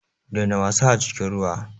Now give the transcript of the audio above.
Daina wasa a cikin ruwa.